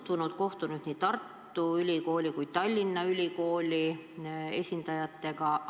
Komisjon on kohtunud nii Tartu Ülikooli kui ka Tallinna Ülikooli esindajatega.